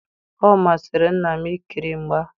Omasiri nna m i ikiri mgba.